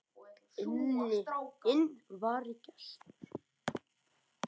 Inn vari gestur